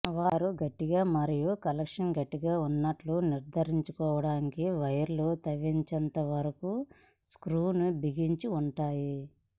వారు గట్టిగా మరియు కనెక్షన్ గట్టిగా ఉన్నట్లు నిర్ధారించుకోవడానికి వైర్లు త్రవ్వించేంత వరకు స్క్రూలను బిగించి ఉంటాయి